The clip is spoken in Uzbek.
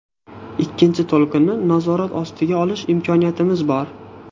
Ikkinchi to‘lqinni nazorat ostiga olish imkoniyatimiz bor.